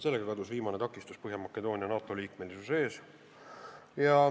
Sellega kadus viimane takistus Põhja-Makedoonia NATO liikmeks saamise ees.